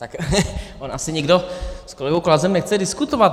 Tak on asi nikdo s kolegou Klausem nechce diskutovat.